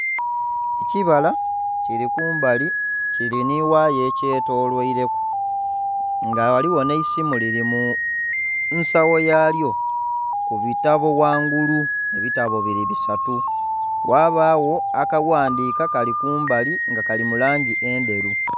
Ekibala kili kumbali kili nhi ghaya ekyetolweireku nga ghaligho nhe esimu lili mu nsagho ya lyo ku bitabo ghangulu ebitabo biri bisatu ghabagho akaghandika kali kumbali nga kali mu langi engheru